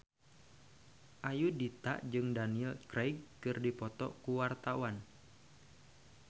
Ayudhita jeung Daniel Craig keur dipoto ku wartawan